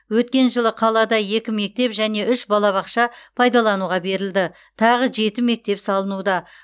өткен жылы қалада екі мектеп және үш балабақша пайдалануға берілді тағы жеті мектеп салынуда